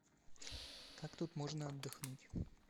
как тут можно отдохнуть